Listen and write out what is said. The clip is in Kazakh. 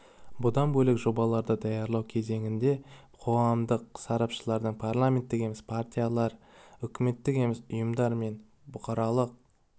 бұдан бөлек жобаларды даярлау кезеңінде қоғамдық сарапшыларды парламенттік емес партиялар үкіметтік емес ұйымдар мен бұқаралық